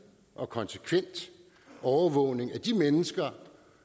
og konsekvent overvågning af de mennesker